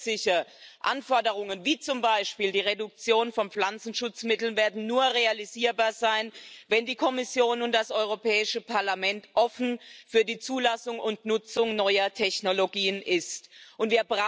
Zusätzliche Anforderungen, wie zum Beispiel die Reduktion von Pflanzenschutzmitteln, werden nur realisierbar sein, wenn die Kommission und das Europäische Parlament offen für die Zulassung und Nutzung neuer Technologien sind.